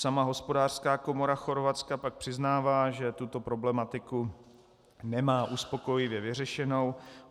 Sama hospodářská komora Chorvatska pak přiznává, že tuto problematiku nemá uspokojivě vyřešenou.